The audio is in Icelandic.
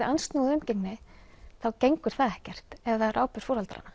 andsnúið umgengni þá gengur það ekkert ef það er ábyrgð foreldranna